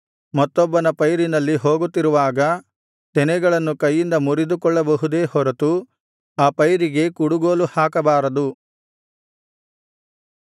ಮತ್ತೊಬ್ಬನ ಪೈರಿನಲ್ಲಿ ಹೋಗುತ್ತಿರುವಾಗ ತೆನೆಗಳನ್ನು ಕೈಯಿಂದ ಮುರಿದುಕೊಳ್ಳಬಹುದೇ ಹೊರತು ಆ ಪೈರಿಗೆ ಕುಡುಗೋಲು ಹಾಕಬಾರದು